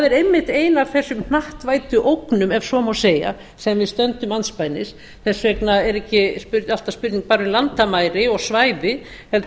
einmitt ein af þessum hnattvæddu ógnum ef svo má segja sem við stöndum andspænis þess vegna er ekki alltaf spurning bara um landamæri og svæði heldur